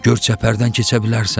Gör çəpərdən keçə bilərsən?